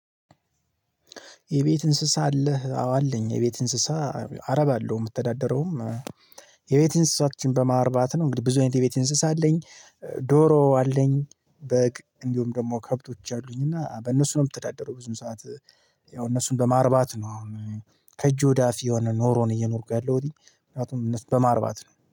የቤት እንስሳ አለህ አዎ አለኝ። የቤት እንስሳ አረባለሁ የምተዳደረውም። የቤት እንስሶችን በማርባት ነው እንግዲህ ብዙ አይነት የቤት እንስሳ አለኝ። ዶሮ አለኝ። በግ እንዲሁም ደግሞ ከብቶች አሉኝና በእነሱ ነው የምተዳደረው ብዙ ሰዓት ያው እነሱን በማርባት ነው። ከእጅ ወዳፍ የሆነ ኑሮን እየኖርኩ ያለሁትኝ ምክንያቱም እነሱን በማርባት ነው